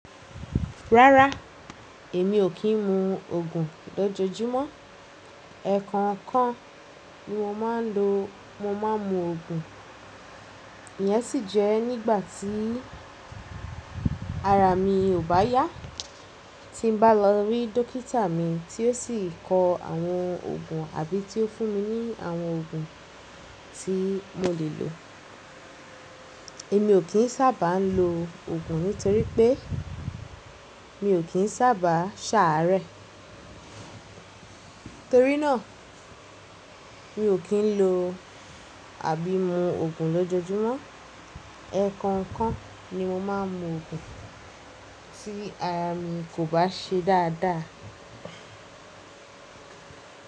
Rárá, èmi ò kí ń mu òògun lójoojúmọ́. Ẹ̀ẹ̀kon kan ni mo máa ń lo, mo máa ń mu òògun, iyẹn sì jẹ́ nígbà tí ara mi ò bá yá. Tí n bá lọ rí dókítà mi tí ó sì kọ àwọn òògun àbí tí ó fún mi ní àwọn òògun tí mo lè lò. Èmi ò kín sábà á ń lo òògun nítorí pé mi ò kín sábà á ṣàárẹ̀. Nítorí náà mi ò kín ń lo àbí mu òògun lójoojúmọ́. Ẹ̀ẹ̀kon kan ni mo máa ń mu òògun tí ara mi kò bá ṣe dáadáa.